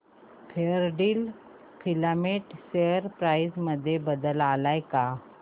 Fairdeal filament share price मध्ये बदल आलाय का